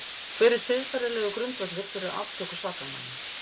Hver er siðferðilegur grundvöllur fyrir aftöku sakamanna?